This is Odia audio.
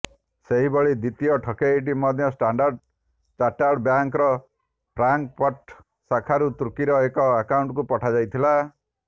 ସେହିଭଳି ଦ୍ୱିତୀୟ ଠକେଇଟି ମଧ୍ୟ ଷ୍ଟାଣ୍ଡାର୍ଡ ଚାର୍ଟାର୍ଡ ବ୍ୟାଙ୍କର ଫ୍ରାଙ୍କଫର୍ଟ ଶାଖାରୁ ତୁର୍କୀର ଏକ ଆକାଉଣ୍ଟକୁ ପଠାଯାଇଥିଲା